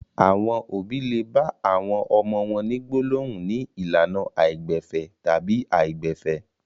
Àwọn òbí le bá àwọn ọmọ wọn ní gbólóhùn ní ìlànà àìgbẹ̀fẹ̀ tàbí àìgbẹ̀fẹ̀.